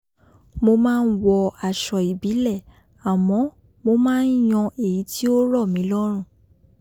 mo máa ń wọ aṣọ ìbílẹ̀ àmọ́ mo máa ń yan èyí tí ó rọ̀ mí lọ́rùn